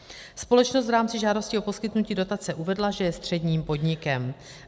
Společnost v rámci žádosti o poskytnutí dotace uvedla, že je středním podnikem.